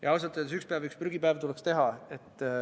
Ja ausalt öeldes tuleks ühel päeval üks prügipäev teha.